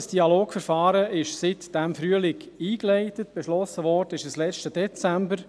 Das Dialogverfahren ist seit diesem Frühling eingeleitet, beschlossen wurde es letzten Dezember.